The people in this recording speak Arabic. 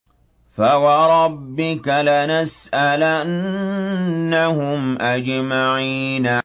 فَوَرَبِّكَ لَنَسْأَلَنَّهُمْ أَجْمَعِينَ